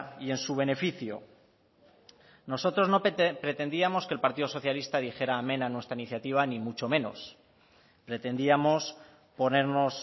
y en su beneficio nosotros no pretendíamos que el partido socialista dijera amén a nuestra iniciativa ni mucho menos pretendíamos ponernos